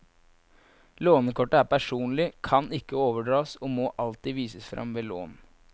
Lånekortet er personlig, kan ikke overdras og må alltid vises fram ved lån.